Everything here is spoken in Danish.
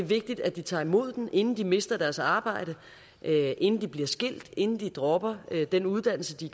vigtigt at vi tager imod dem inden de mister deres arbejde inden de bliver skilt inden de dropper den uddannelse de